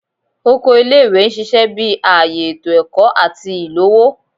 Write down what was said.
Oko ile-iwe n ṣiṣẹ bi aaye eto ẹkọ ati ilowo